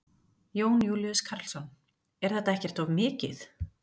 Jón Júlíus Karlsson: Er þetta ekkert of mikið?